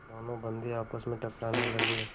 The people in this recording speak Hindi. दोनों बंदी आपस में टकराने लगे